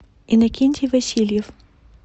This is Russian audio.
иннокентий васильев